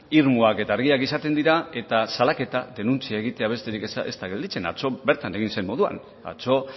irmoak eta argiak izaten dira eta salaketa denuntzia egitea besterik ez da gelditzen atzo bertan egin zen moduan atzo